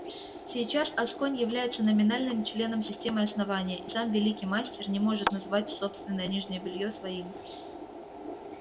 сейчас асконь является номинальным членом системы основания и сам великий мастер не может назвать собственное нижнее белье своим